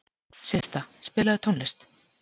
Systa, spilaðu tónlist.